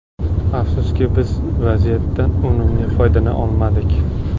Afsuski, biz vaziyatlardan unumli foydalana olmadik.